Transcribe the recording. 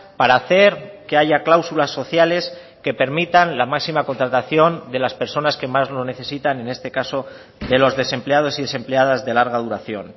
para hacer que haya cláusulas sociales que permitan la máxima contratación de las personas que más lo necesitan en este caso de los desempleados y desempleadas de larga duración